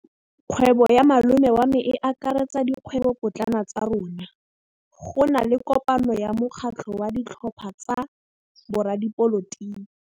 Kgwêbô ya malome wa me e akaretsa dikgwêbôpotlana tsa rona. Go na le kopanô ya mokgatlhô wa ditlhopha tsa boradipolotiki.